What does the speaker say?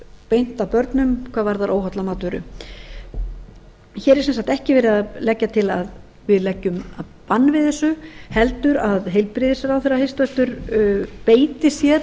beint að börnum hvað varðar óholla matvöru hér er sem sagt ekki verið að leggja til að við leggjum bann við þessu heldur að heilbrigðisráðherra hæstvirtur beiti sér